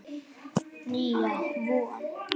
Nýja von.